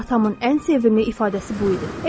Atamın ən sevimli ifadəsi bu idi.